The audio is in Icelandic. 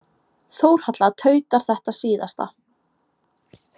Þórhalla tautar þetta síðasta.